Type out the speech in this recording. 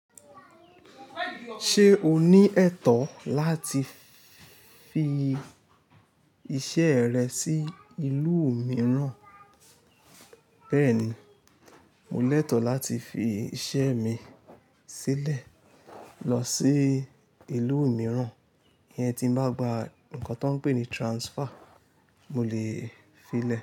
Ṣé o ní ẹ̀tọ́ láti fi iṣẹ́ rẹ sí ìlú mìíràn? Bẹ́ẹ̀ni, mo lẹ́tọ̀ láti fi iṣẹ́ mi sílẹ̀ lọ sí ìlú mìíràn. Iyecn ti ń bá gba nǹkan tó ń pè ní transfer, mo lè fi lẹ̀